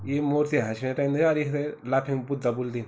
इ मूर्ति हैसणीत रैंदी अर येथ्य लाफिंग बुद्धा बुल्दी।